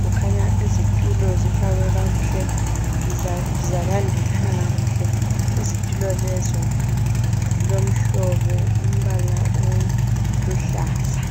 kukhanya izitulo ifakwe kwakuhle izitulo lezo zilomhlobo umbala oluhlaza